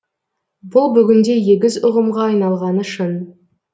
бұл бүгінде егіз ұғымға айналғаны шын